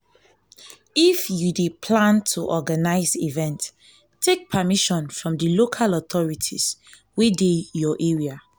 if you dey plan to organise event take permission from di local authorities wey dey your area